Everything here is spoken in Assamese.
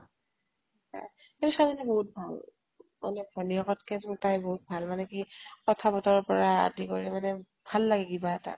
কিন্তু ছোৱালীজনী বহুত ভাল মানে ভনিয়েকত্কে তাই বহুত ভাল মাকে কি কথা বতৰাৰ পৰা আদি কৰি মানে ভাল লাগে কিবা এটা।